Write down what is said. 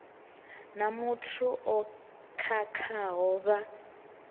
na muthu o khakhaho vha